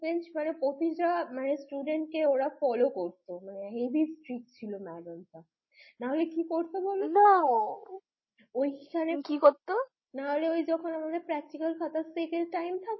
প্রতিটা student কে ওরা follow করতো মানে হেবি strict ছিল madam টা না হলে কি করতে বলতো, না, ওখানে কি করতো? আমাদের practical খাতা চেকের টাইম থাকতো